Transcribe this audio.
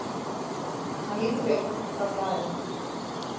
Hann lítur upp frá blaðinu.